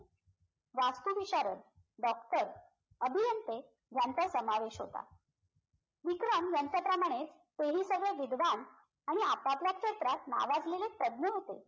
वास्तुविशारद doctor अभियंते यांचा समावेश होता विक्रम यांच्याप्रमाणे ते हि सगळे विद्वान आणि आपापल्या क्षेत्रात नावाजलेले तज्ञ होते